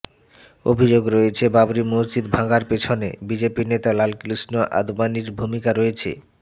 অভিযোগ রয়েছে বাবরি মসজিদ ভাঙ্গার পেছনে বিজেপি নেতা লালকৃষ্ণ আদভানির ভূমিকা রয়েছে